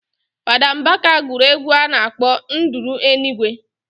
Fada mbaka guru egwu a nakp nduru enigwe